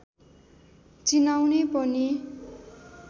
चिनाउने पनि